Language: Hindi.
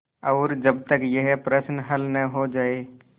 और जब तक यह प्रश्न हल न हो जाय